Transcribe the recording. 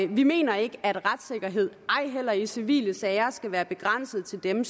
vi mener ikke at retssikkerhed ej heller i civile sager skal være begrænset til dem